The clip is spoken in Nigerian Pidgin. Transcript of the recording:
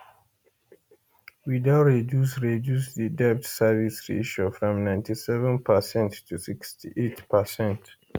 we don reduce reduce di debt service ratio from 97 per cent to 68 per cent